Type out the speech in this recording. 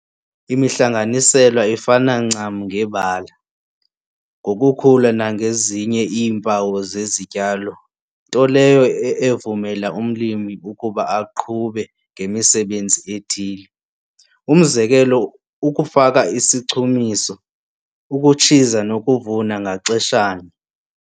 Imihlanganiselwa ifana ncam ngebala, ngokukhula nangezinye iimpawu zezityalo nto leyo evumela umlimi ukuba aqhube ngemisebenzi ethile, umzekelo, ukufaka isichumiso, ukutshiza nokuvuna, ngaxeshanye.